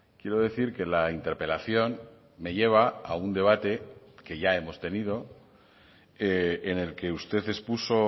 quiero decir que la interpelación me lleva a un debate que ya hemos tenido en el que usted expuso